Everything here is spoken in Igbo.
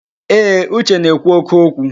Ee, Uche na-ekwu óké okwu.